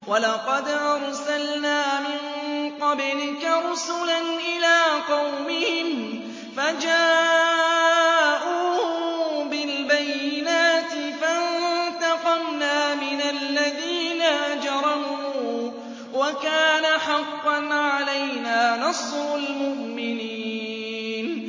وَلَقَدْ أَرْسَلْنَا مِن قَبْلِكَ رُسُلًا إِلَىٰ قَوْمِهِمْ فَجَاءُوهُم بِالْبَيِّنَاتِ فَانتَقَمْنَا مِنَ الَّذِينَ أَجْرَمُوا ۖ وَكَانَ حَقًّا عَلَيْنَا نَصْرُ الْمُؤْمِنِينَ